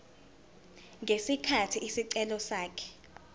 ngesikhathi isicelo sakhe